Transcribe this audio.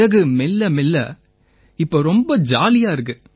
பிறகு மெல்லமெல்ல இப்ப ரொம்ப ஜாலியா இருக்கு